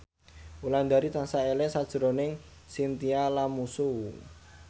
Wulandari tansah eling sakjroning Chintya Lamusu